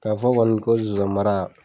K'a fɔ kɔni ko zonzan mara